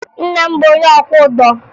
Nna m bụ onye ọkwọụgbọ